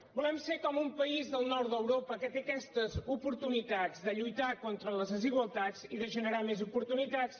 volem ser com un país del nord d’europa que té aquestes oportunitats de lluitar contra les desigualtats i de generar més oportunitats